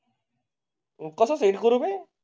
कसे गुरु करू मी?